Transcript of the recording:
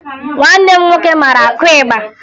Nwanne m nwoke mara akụ ịgba